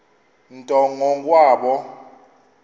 nto ngo kwabo